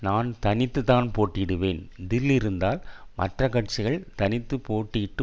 நான் தனித்துதான் போட்டியிடுவேன் தில் இருந்தால் மற்ற கட்சிகள் தனித்து போட்டியிட்டு